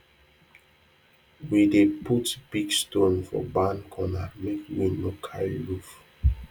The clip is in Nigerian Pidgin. we dey put big stone for barn corner make wind no carry roof